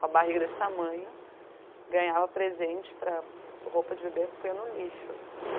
Com a barriga desse tamanho, ganhava presente para roupa de bebê punha no lixo, assim.